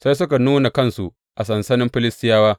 Sai suka nuna kansu a sansanin Filistiyawa.